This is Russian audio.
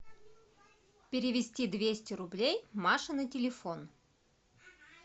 перевести двести рублей маше на телефон